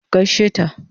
ki gaishe ta!